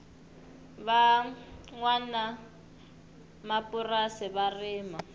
va nwanamapurasi va rima